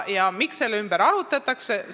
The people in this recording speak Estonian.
Ja miks selle üle arutletakse?